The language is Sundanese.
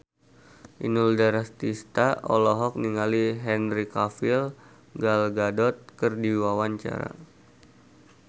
Inul Daratista olohok ningali Henry Cavill Gal Gadot keur diwawancara